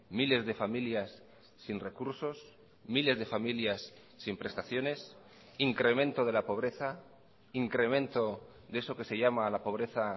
miles de familias sin recursos miles de familias sin prestaciones incremento de la pobreza incremento de eso que se llama la pobreza